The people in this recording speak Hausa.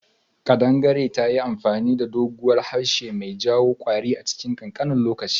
Kadangare tayi amfani da doguwan harshe mai jawo kwari a chilin kankanin lokaci.